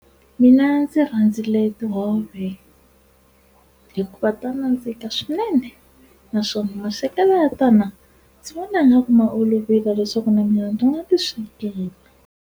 Mina ndzi rhandzile tihove hikuva ta nandzika swinene naswona maswekelo ya tona ndzi vona nga ku ma olovile leswaku na mina ni nga ti swikela.